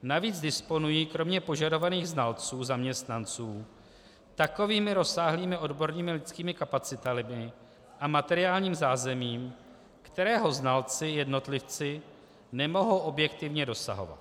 Navíc disponují kromě požadovaných znalců zaměstnanců takovými rozsáhlými odbornými a lidskými kapacitami a materiálním zázemím, kterého znalci jednotlivci nemohou objektivně dosahovat.